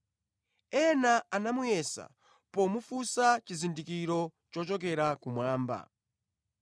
Ena anamuyesa pomufunsa chizindikiro chochokera kumwamba.